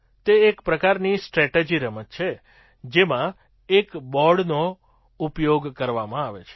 તે એક પ્રકારની સ્ટ્રેટેજી રમત છે જેમાં એક બૉર્ડનો ઉપયોગ કરવામાં આવે છે